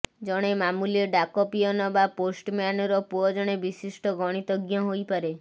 ଜଣେ ମାମୁଲି ଡାକ ପିଅନ ବା ପୋଷ୍ଟମ୍ୟାନର ପୁଅ ଜଣେ ବିଶିଷ୍ଟ ଗଣିତଜ୍ଞ ହୋଇପାରେ